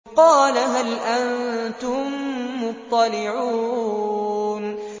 قَالَ هَلْ أَنتُم مُّطَّلِعُونَ